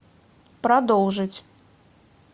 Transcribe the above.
продолжить